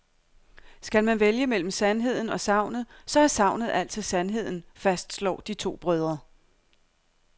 Skal man vælge mellem sandheden og sagnet, så er sagnet altid sandheden, fastslår de to brødre.